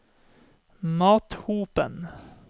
Mathopen